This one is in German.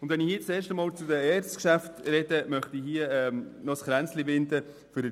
An dieser Stelle möchte ich der ERZ noch ein Kränzchen winden.